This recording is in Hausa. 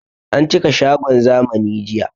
An cika shagon zamani jiya